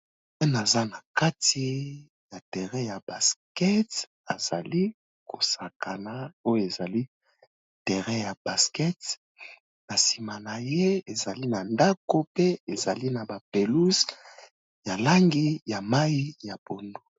Aza na kati ya terrain ya basket azali ko sakana oyo ezali terrain ya basket na sima na ye, ezali na ndako pe ezali na ba pelouses ya langi ya mayi ya pondu .